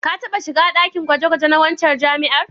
Ka taɓa shiga ɗakin gwaje-gwaje na waccan jami'ar?